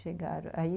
Chegaram, aí